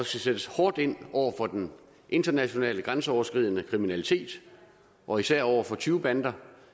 skal sættes hårdt ind over for den internationale grænseoverskridende kriminalitet og især over for tyvebander